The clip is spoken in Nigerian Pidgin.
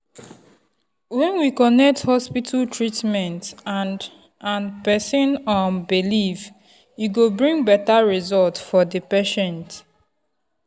when we connect hospital treatment and and person um belief e go bring better result for the patient.